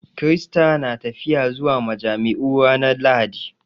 Kirista na tafiya zuwa majami'u ranar Lahadi